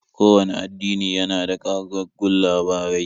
Kowanne addini yana da ƙagaggun labarai.